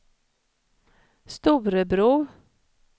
Storebro